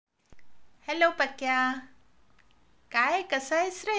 Hello Pakya, काय कसा आहेस रे?